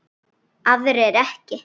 Aðrir ekki.